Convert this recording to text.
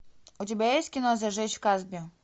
у тебя есть кино зажечь в касби